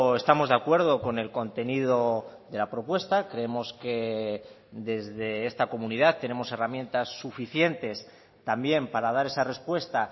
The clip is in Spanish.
estamos de acuerdo con el contenido de la propuesta creemos que desde esta comunidad tenemos herramientas suficientes también para dar esa respuesta